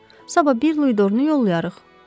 Sabah bir luidorunu yollayarıq.